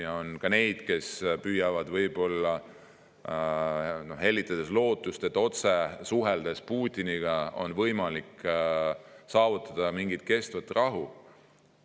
Ja on ka neid, kes püüavad võib-olla hellitada lootust, et Putiniga otse suheldes on võimalik saavutada mingit kestvat rahu.